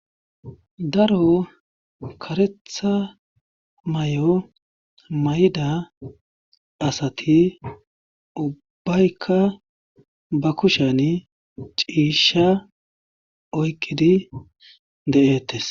Daro karetha may7o mayda asati ubbaykka ba kushan ciisha oyqidi de7ettes.